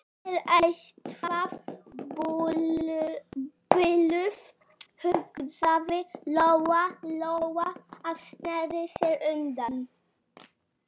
Hún er eitthvað biluð, hugsaði Lóa-Lóa og sneri sér undan.